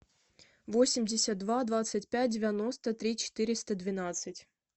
восемьдесят два двадцать пять девяносто три четыреста двенадцать